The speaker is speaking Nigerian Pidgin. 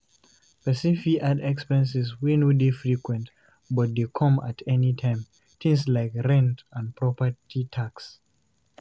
Person fit add expenses wey no dey frequent but dey come at anytime, things like rent and property tax